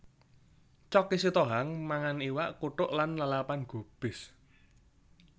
Choky Sitohang mangan iwak kuthuk lan lalapan gubis